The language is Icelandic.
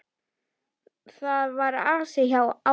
Það var asi á honum.